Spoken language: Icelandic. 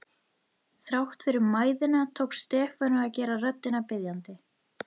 Þrátt fyrir mæðina tókst Stefáni að gera röddina biðjandi.